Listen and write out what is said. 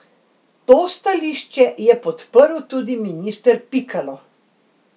To stališče je podprl tudi minister Pikalo.